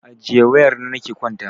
Ajiye wayar nan ki kwanta!